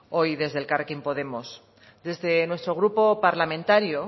hoy desde elkarrekin podemos desde nuestro grupo parlamentario